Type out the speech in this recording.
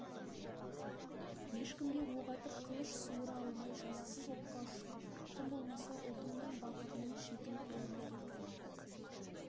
ешкімге оқ атып қылыш суыра алмай жазықсыз оққа ұштың тым болмаса ұлтыңның бақытының шетін көре алмай кеттің